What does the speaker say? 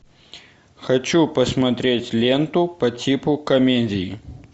хочу посмотреть ленту по типу комедий